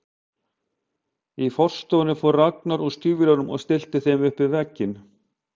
Í forstofunni fór Ragnar úr stígvélunum og stillti þeim upp við vegginn.